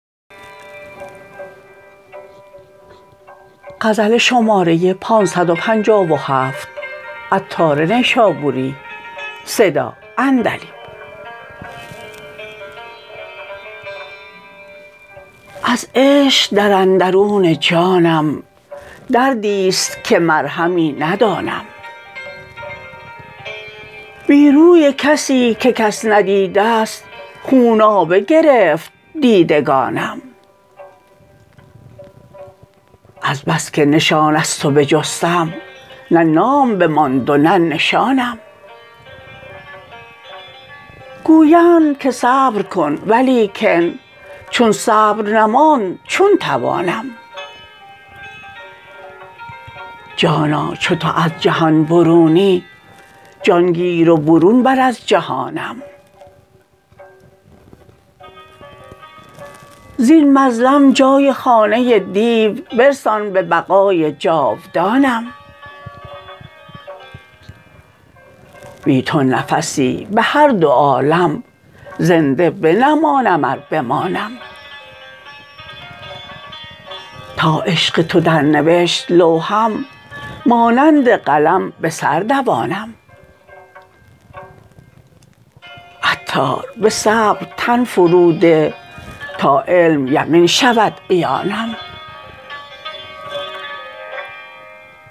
از عشق در اندرون جانم دردی است که مرهمی ندانم بی روی کسی که کس ندید است خونابه گرفت دیدگانم از بس که نشان از تو بجستم نه نام بماند و نه نشانم گویند که صبر کن ولیکن چون صبر نماند چون توانم جانا چو تو از جهان برونی جان گیر و برون بر از جهانم زین مظلم جای خانه دیو برسان به بقای جاودانم بی تو نفسی به هر دو عالم زنده بنمانم ار بمانم تا عشق تو در نوشت لوحم مانند قلم به سر دوانم عطار به صبر تن فرو ده تا علم یقین شود عیانم